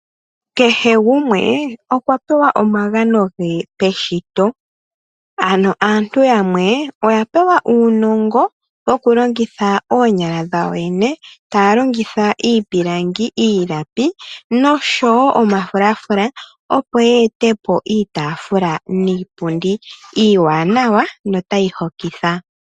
Kehe gumwe okwa pewa omagano ge peshito ano aantu yamwe oya pewa uunongo wokulongitha oonyala dhawo yene taya longitha iipilangi, iilapi noshowo omafulafula opo ye etepo iitafula niipundi iiwanawa notayi hokitha.